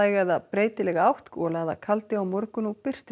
eða breytileg átt gola eða kaldi á morgun og birtir